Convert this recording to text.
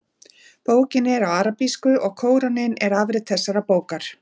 Bókin er á arabísku og Kóraninn er afrit þessarar bókar.